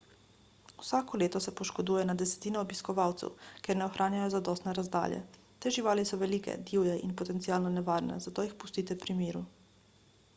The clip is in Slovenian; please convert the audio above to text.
vsako leto se poškoduje na desetine obiskovalcev ker ne ohranjajo zadostne razdalje te živali so velike divje in potencialno nevarne zato jih pustite pri miru